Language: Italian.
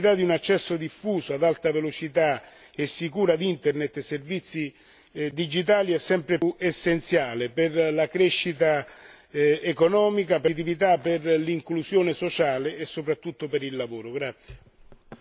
Pertanto, la disponibilità di un accesso diffuso ad alta velocità e sicuro ad Internet e servizi digitali è sempre più essenziale per la crescita economica, per la competitività, per l'inclusione sociale e soprattutto per il lavoro.